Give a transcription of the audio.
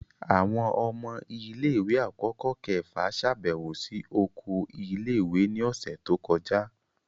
Awọn ọmọ ile-iwe akọkọ kẹfa ṣabẹwo si oko ile-iwe ni ọsẹ to kọja.